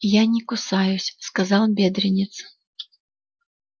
я не кусаюсь сказал бедренец